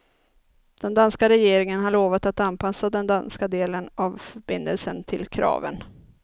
Den danska regeringen har lovat att anpassa den danska delen av förbindelsen till kraven.